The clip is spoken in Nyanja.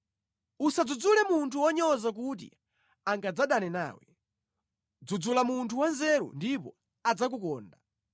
Usadzudzule munthu wonyoza kuti angadzadane nawe; dzudzula munthu wanzeru ndipo adzakukonda.